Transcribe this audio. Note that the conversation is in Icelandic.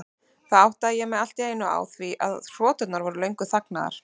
Þá áttaði ég mig allt í einu á því að hroturnar voru löngu þagnaðar.